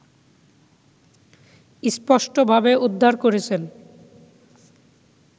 স্পষ্ট ভাবে উদ্ধার করেছেন